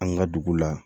An ka dugu la